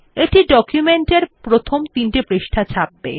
এটি ডকুমেন্টের প্রথম তিনটি পৃষ্টা ছাপবে